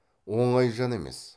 оңай жан емес